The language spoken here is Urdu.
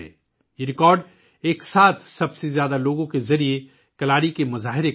یہ ریکارڈ کلاری کی ایک ساتھ زیادہ سے زیادہ لوگوں کی کارکردگی کا نتیجہ ہے